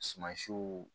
Sumasiw